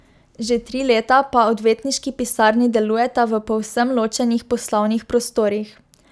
Že tri leta pa odvetniški pisarni delujeta v povsem ločenih poslovnih prostorih.